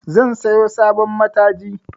Zan siyo sabon mataji